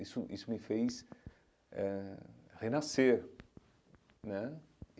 Isso isso me fez eh renascer né.